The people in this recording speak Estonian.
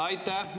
Aitäh!